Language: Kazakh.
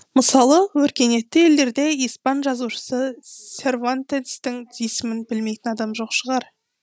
мысалы өркениетті елдерде испан жазушысы сервантестің есімін білмейтін адам жоқ шығар